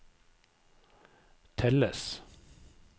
telles